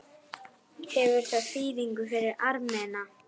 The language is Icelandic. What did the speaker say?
Hefur það þýðingu fyrir Armena.